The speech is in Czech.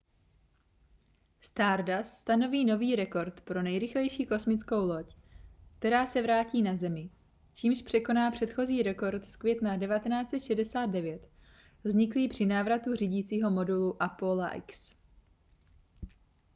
stardust stanoví nový rekord pro nejrychlejší kosmickou loď která se vrátí na zemi čímž překoná předchozí rekord z května 1969 vzniklý při návratu řídícího modulu apolla x